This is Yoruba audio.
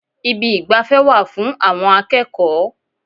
Ibi ìgbafẹ́ wà fún àwọn akẹ́kọ̀ọ́.